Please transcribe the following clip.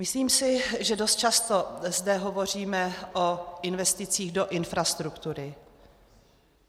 Myslím si, že dost často zde hovoříme o investicích do infrastruktury.